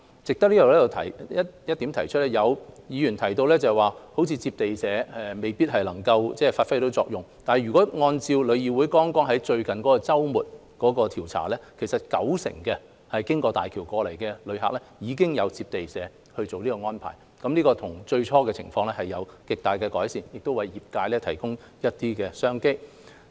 值得提出的是，有議員提到，地接社未必能發揮作用，但如果按照旅議會在剛過去的周末所作的調查，有九成經大橋來港的旅行團已經獲得地接社作出安排，這與最初的情況比較已有極大的改善，亦為業界提供了一些商機。